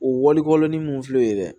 O walikolon ni mun filɛ ye dɛ